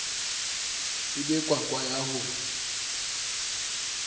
e be kwakwa ya ho